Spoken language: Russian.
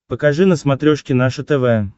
покажи на смотрешке наше тв